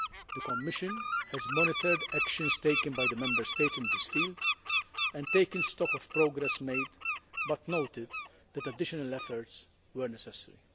The Commission has monitored actions taken by the Member States in this field and taken stock of progress made but has noted that additional efforts were necessary.